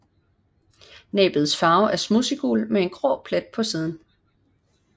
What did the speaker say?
Næbets farve er smudsiggul med en grå plet på spidsen